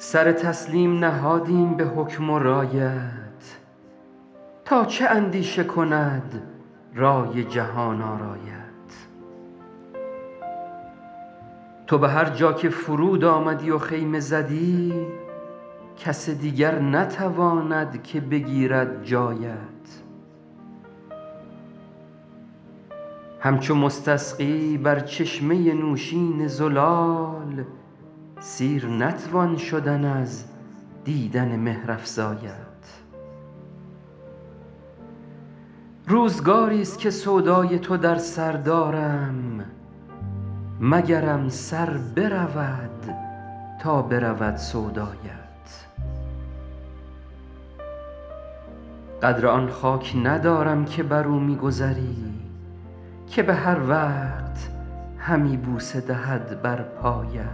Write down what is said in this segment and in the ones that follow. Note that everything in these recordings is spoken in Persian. سر تسلیم نهادیم به حکم و رایت تا چه اندیشه کند رای جهان آرایت تو به هر جا که فرود آمدی و خیمه زدی کس دیگر نتواند که بگیرد جایت همچو مستسقی بر چشمه نوشین زلال سیر نتوان شدن از دیدن مهرافزایت روزگاریست که سودای تو در سر دارم مگرم سر برود تا برود سودایت قدر آن خاک ندارم که بر او می گذری که به هر وقت همی بوسه دهد بر پایت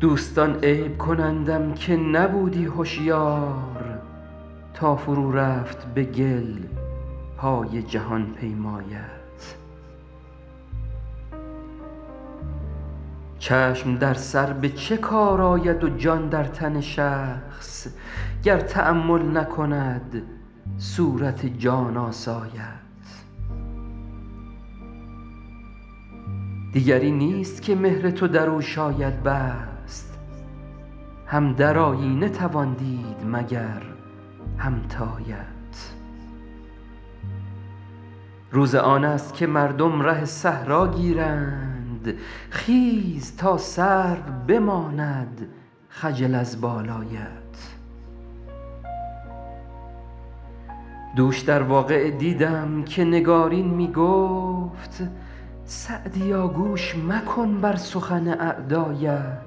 دوستان عیب کنندم که نبودی هشیار تا فرو رفت به گل پای جهان پیمایت چشم در سر به چه کار آید و جان در تن شخص گر تأمل نکند صورت جان آسایت دیگری نیست که مهر تو در او شاید بست هم در آیینه توان دید مگر همتایت روز آن است که مردم ره صحرا گیرند خیز تا سرو بماند خجل از بالایت دوش در واقعه دیدم که نگارین می گفت سعدیا گوش مکن بر سخن اعدایت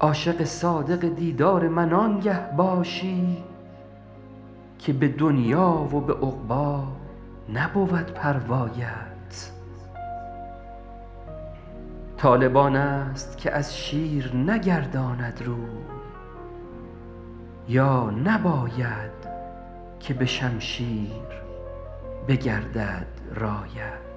عاشق صادق دیدار من آنگه باشی که به دنیا و به عقبی نبود پروایت طالب آن است که از شیر نگرداند روی یا نباید که به شمشیر بگردد رایت